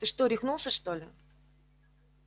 ты что рехнулся что ли